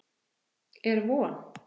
Er von?